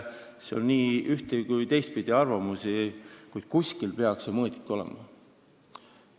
Saime nii üht- kui ka teistpidi arvamusi, kuid kuskil peaks ju mõõdik olema.